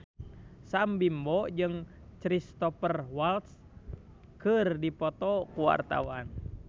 Sam Bimbo jeung Cristhoper Waltz keur dipoto ku wartawan